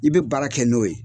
I bɛ baara kɛ n'o ye.